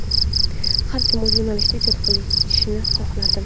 Har kim o‘z yo‘nalishida ijod qilishini xohlardim.